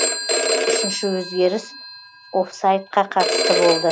үшінші өзгеріс оффсайдқа қатысты болды